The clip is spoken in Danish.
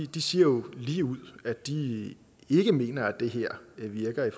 de siger jo ligeud at de ikke mener at det her virker i